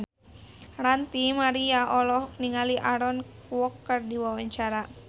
Ranty Maria olohok ningali Aaron Kwok keur diwawancara